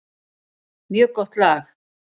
Mjög gott lag.